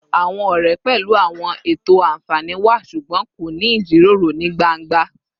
Awọn ọrẹ pẹlu awọn eto anfani wa ṣugbọn wọn ko ni ijiroro ni gbangba